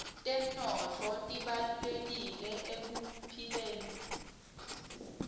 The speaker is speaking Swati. temnotfo tibalulekile ekuphileni